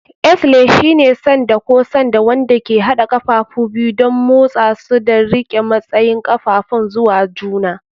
Axle shine sanda ko sanda wanda ke haɗa ƙafafu biyu don motsa su da riƙe matsayin ƙafafun zuwa juna.